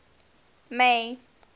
may